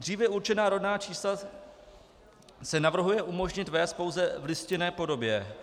Dříve určená rodná čísla se navrhuje umožnit vést pouze v listinné podobě.